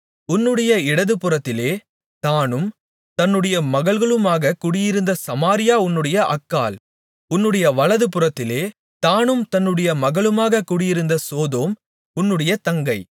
உன்னுடைய இடதுபுறத்திலே தானும் தன்னுடைய மகள்களுமாகக் குடியிருந்த சமாரியா உன்னுடைய அக்காள் உன்னுடைய வலதுபுறத்திலே தானும் தன்னுடைய மகள்களுமாகக் குடியிருந்த சோதோம் உன்னுடைய தங்கை